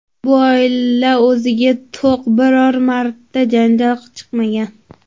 Bu oila o‘ziga to‘q, biror marta janjal chiqmagan.